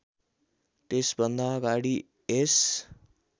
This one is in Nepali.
त्यसभन्दा अगाडि यस